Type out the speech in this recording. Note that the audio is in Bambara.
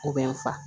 U bɛ n fa